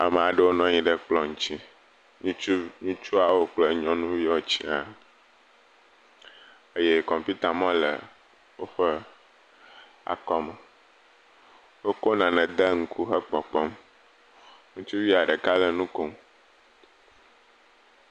Amea ɖewo nɔ anyi ɖe kplɔ ŋtsi, ŋutsuavi, ŋutsuawo kple nyɔnuviawo sia eye kɔmputamɔ le woƒe akɔme, wokɔ nane de ŋku hekpɔkpɔm, ŋutsuavia ɖeka le nu kom.